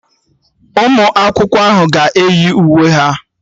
Ụmụ akwụkwọ ahụ aga eyi uwe ha?